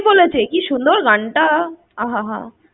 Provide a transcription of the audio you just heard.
কে বলেছে? কি সুন্দর গানটা! আহা হা হা।